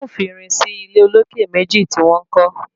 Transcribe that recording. Wọn ò fi irin sí ilé olókè méjì tí wọ́n kọ́.